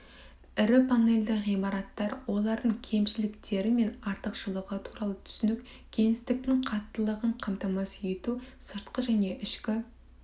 ірі панельді ғимараттар олардың кемшіліктері мен артықшылығы туралы түсінік кеңістіктің қаттылығын қамтамасыз ету сыртқы және ішкі